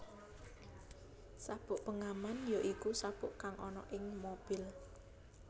Sabuk pengaman ya iku sabuk kang ana ing mobil